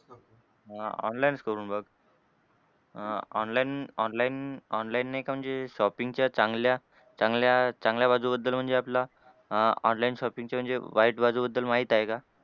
हां online च करून बघ. अह online online online ने एक म्हणजे shopping च्या चांगल्या चांगल्या चांगल्या बाजूबद्दल म्हणजे आपला अह online shopping ची म्हणजे वाईट बाजूबद्दल माहित आहे का?